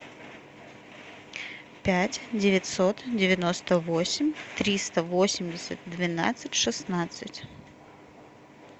пять девятьсот девяносто восемь триста восемьдесят двенадцать шестнадцать